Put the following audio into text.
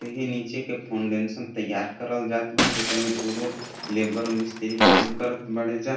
ई नीचे के फाउंडेन्शन तैयार करल जात बा जेकर में दुगो लेबर और मिस्त्री काम करत बाड़े जा।